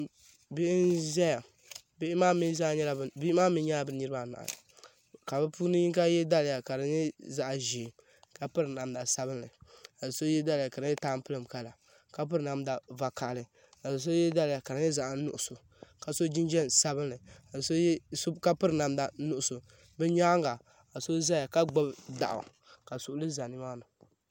Bihi n zaya bihi maa mee nyɛla bɛ niriba anahi ka bɛ puuni yinŋa ye daliya ka di nyɛ zaɣa ʒee ka piri namda sabinli ka so ye daliya ka di nyɛla tampilim kala ka piri namda vakahali ka so ye daliya ka di nyɛ zaɣa nuɣuso ka so jinjiɛm sabinli ka piri namda nuɣuso di nyaanga ka so zaya ka gbibi daɣu ka suɣuli za nimaa.